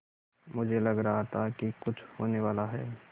मुझे लग रहा था कि कुछ होनेवाला है